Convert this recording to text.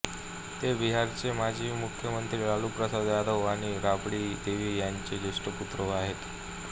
ते बिहारचे माजी मुख्यमंत्री लालू प्रसाद यादव आणि राबड़ी देवी यांचे ज्येष्ठ पुत्र आहेत